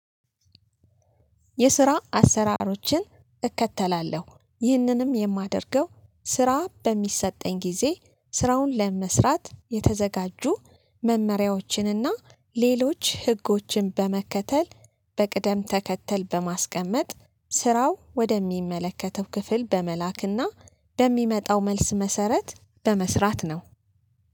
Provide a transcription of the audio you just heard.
የስራ አሰራሮችን እከተላለሁ ይህንንም የማደርገው ስራ በሚሰጠኝ ጊዜ ስራውን ለመስራት የተዘጋጁ መመሪያዎችንና ሌሎች ህጎችን በመከተል በቅደም ተከተል በማስቀመጥ ስራው ወደሚመለከተው ክፍል በመላክና በሚመጣው መልስ መሰረት በመስራት ነው።